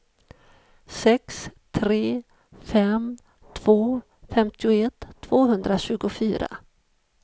sex tre fem två femtioett tvåhundratjugofyra